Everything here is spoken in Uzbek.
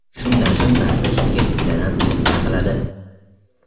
Shundan so‘ng massa ustiga bittadan tuxum chaqiladi.